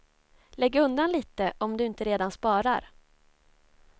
Lägg undan lite om du inte redan sparar.